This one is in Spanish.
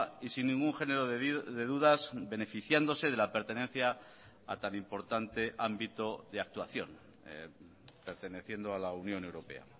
y sin ningún género de dudas beneficiándose de la pertenencia a tan importante ámbito de actuación perteneciendo a la unión europea